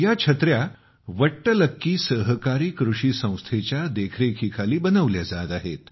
या छत्र्या 'वट्टलक्की सहकारी कृषी संस्थे'च्या देखरेखीखाली बनवल्या जात आहेत